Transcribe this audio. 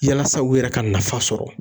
Yalasa u yɛrɛ ka nafa sɔrɔ